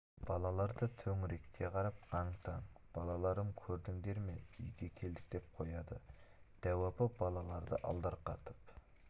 балалар да төңірекке қарап аң-таң балаларым көрдіңдер ме үйге келдік деп қояды дәу апа балаларды алдарқатып